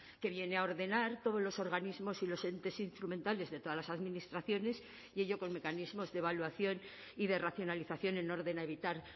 que viene a ordenar todos los organismos y los entes instrumentales de todas las administraciones y ello con mecanismos de evaluación y de racionalización en orden a evitar